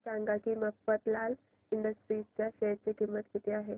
हे सांगा की मफतलाल इंडस्ट्रीज च्या शेअर ची किंमत किती आहे